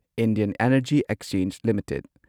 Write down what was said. Indian energy exchange limited